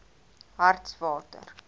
hartswater